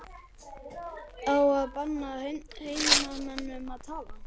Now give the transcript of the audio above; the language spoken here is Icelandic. Á að banna heimamönnum að tala?